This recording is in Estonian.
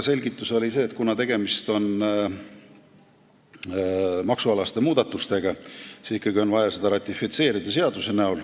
Selgituseks oli see, et kuna tegemist on maksualaste muudatustega, siis ikkagi on vaja see seadus ratifitseerida.